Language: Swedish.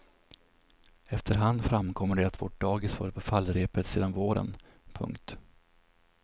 Efterhand framkommer det att vårt dagis varit på fallrepet sedan våren. punkt